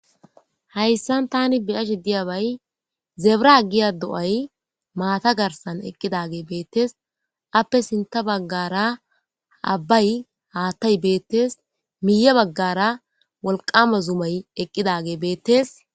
Hayssan tani biyashe diyabay zebra giya do'ay maata garsan eqqidage beettes appe sinta baggara abbay haattay beettes miya baggara wolqama zumay eqqidage beettes.